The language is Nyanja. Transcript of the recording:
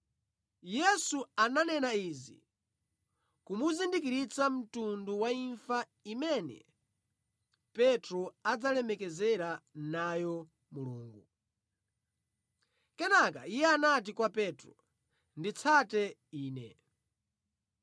Yesu ananena izi kumuzindikiritsa mtundu wa imfa imene Petro adzalemekezera nayo Mulungu. Kenaka Iye anati kwa Petro, “Nditsate Ine!”